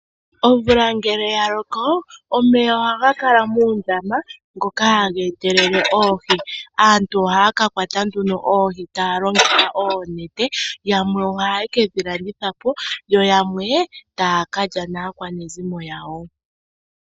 Omvula ngele ya loko omeya ohaga kala muundama ngoka haga etelele oohi. Aantu ohaya kakwata nduno oohi taya longitha oonete, yamwe ohaye kedhi landithapo, yo yamwe taya kalya naakwanezimo yawo.